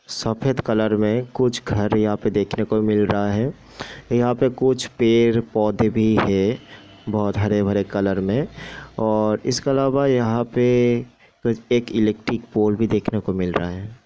सफ़ेद कलर में कुछ घर यहाँ पे देखने को मिल रहा है यहाँ पे कुछ पेड़-पौधे भी है बहुत हरे-भरे कलर में और इसके अलावा यहाँ पे एक इलेक्ट्रिक पोल भी देखने को मिल रहा है।